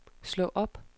slå op